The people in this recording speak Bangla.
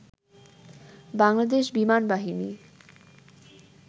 বাংলাদেশ বিমানবাহিনী